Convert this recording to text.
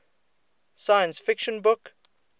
science fiction book